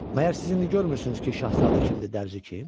Məyər siz indi görmürsünüz ki, Şahzadə kimdir, Dərzi kim?